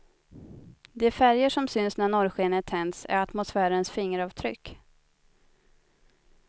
De färger som syns när norrskenet tänds är atmosfärens fingeravtryck.